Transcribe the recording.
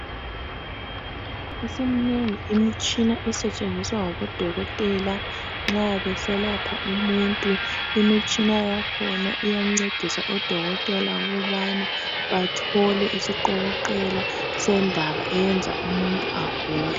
Isiminengi imitshina esetshenziswa ngabodokotela nxa beselapha umuntu, imitshina yakhona iyancedisa odokotela ukubana bathole isiqokoqela sendaba eyenza umuntu agule.